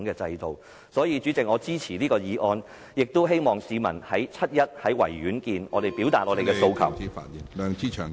因此，主席，我支持這項議案，希望與市民於7月1日在維多利亞公園見......